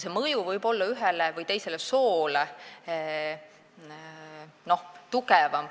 See mõju võib ühele või teisele soole olla tugevam.